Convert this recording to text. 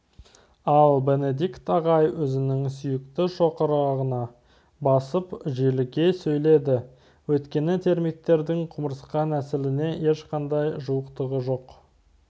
ал бенедикт ағай өзінің сүйікті шоқырағына басып желіге сөйледі өйткені термиттердің құмырсқа нәсіліне ешқандай жуықтығы жоқ